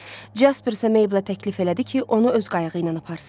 Casper isə Meyblə təklif elədi ki, onu öz qayığı ilə aparsın.